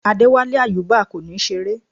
Adewale Ayuba kò ní ṣeré